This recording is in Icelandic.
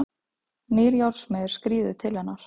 Nýr járnsmiður skríður til hennar.